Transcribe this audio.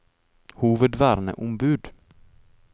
hovedverneombud